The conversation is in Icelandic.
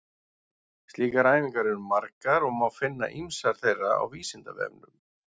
Slíkar æfingar eru margar og má finna ýmsar þeirra á Vísindavefnum.